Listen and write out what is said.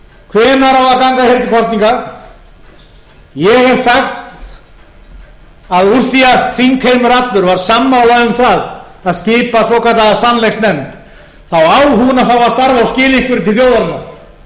hvenær á að ganga hér til kosninga ég hef sagt að úr því að þingheimur allur var sammála um það að skipa svokallaða sannleiksnefnd þá á hún að fá að starfa til þjóðarinnar hún á